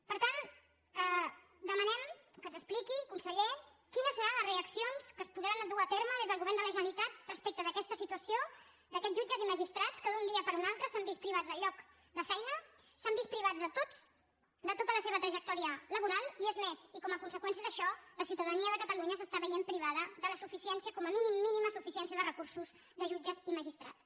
per tant demanem que ens expliqui conseller quines seran les reaccions que es podran dur a terme des del govern de la generalitat respecte d’aquesta situació d’aquests jutges i magistrats que d’un dia per altre s’han vist privats del lloc de feina s’han vist privats de tota la seva trajectòria laboral i és més i com a conseqüència d’això la ciutadania de catalunya s’està veient privada de la suficiència com a mínim mínima suficiència de recursos de jutges i magistrats